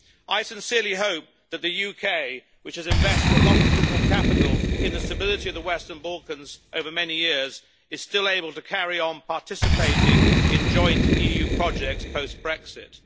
I sincerely hope that the UK, which has invested a lot of political capital in the stability of the Western Balkans over many years, is still able to carry on participating in joint EU projects post-Brexit.